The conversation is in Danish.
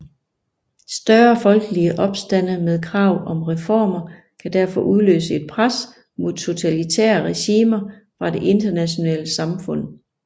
Større folkelige opstande med krav om reformer kan derfor udløse et pres mod totalitære regimer fra det internationale samfund